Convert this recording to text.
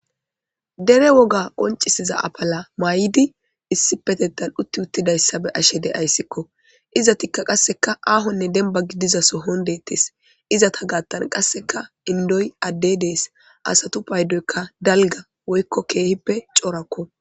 Dere woga qoncisiza affala mayidi issippetethan uthiwothidayssa bea'she dayssikko. Ezzathikka qassekka aahone demba gidiza sohon dethess. Izzatha gathan qassekka indoy adde dess assathu payddoy dalgga woykko kehippe corakko.